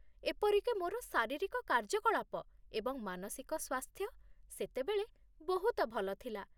ଏପରିକି ମୋର ଶାରୀରିକ କାର୍ଯ୍ୟକଳାପ ଏବଂ ମାନସିକ ସ୍ୱାସ୍ଥ୍ୟ ସେତେବେଳେ ବହୁତ ଭଲ ଥିଲା।